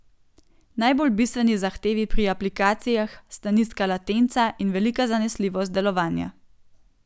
Najbolj bistveni zahtevi pri aplikacijah sta nizka latenca in velika zanesljivost delovanja.